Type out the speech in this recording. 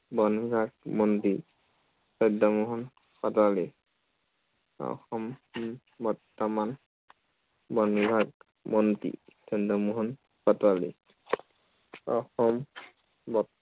বন বিভাগ মন্ত্ৰী। চন্দ্ৰমোহন পাটোৱাৰী। অসম বৰ্তমান, বন বিভাগ মন্ত্ৰী, চন্দ্ৰমোহন পাটোৱাৰী। অসম